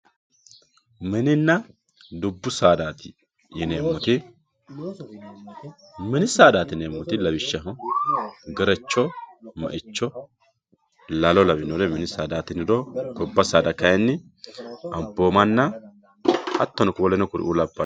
mininna dubbu saadaati yineemmoti mini saadaati yineemmoti lawishshaho gerecho meicho lalo lawinore mini saadaati tiniro gobba saada kayiinni amboomanna hattono woleno kuriuu labbanno.